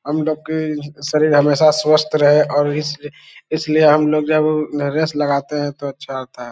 हमलोग की शरीर हमेशा स्वस्थ रहे और इसलिए हमलोग जब रेस लगाते है तो अच्छा होता है।